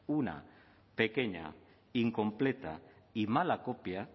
una pequeña incompleta y mala copia